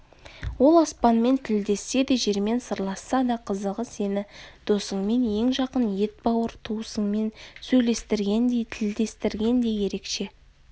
ол аспанмен тілдессе де жермен сырласса да қызығы сені досыңмен ең жақын етбауыр туысыңмен сөйлестіргендей тілдестіргендей ерекше